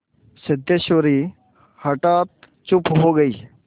सिद्धेश्वरी हठात चुप हो गई